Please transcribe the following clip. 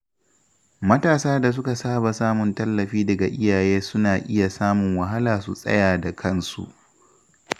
Matasa da suka saba samun tallafi daga iyaye suna iya samun wahala su tsaya da kansu.